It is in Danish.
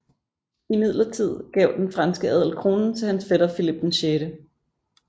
Imidlertid gav den franske adel kronen til hans fætter Filip 6